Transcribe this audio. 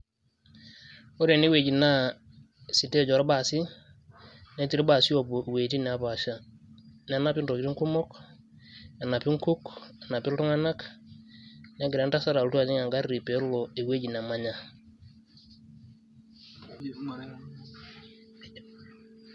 Ore enewueji naa, sitej orbasi. Netii irbaasi oopuo iwuejiting' nepaasha. Nenapi ntokiting' kumok, enapi nkuk, enapi iltung'anak, negira entasat alotu ajing' egarri pelo ewueji nemanya.